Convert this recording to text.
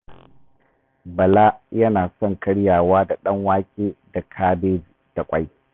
Bala yana son karyawa da ɗanwake da kabeji da ƙwai